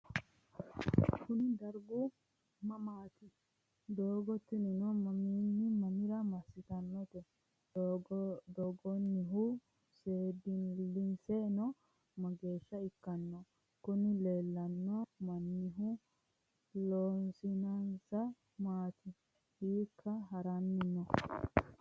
kuni dargu mamaati? doogo tinino mamiinni mamira massitannote? doogonnihu seendiliseno mageesha ikkanno? kuni leellanno mannihu loosinsa maati? hiikka haranni no?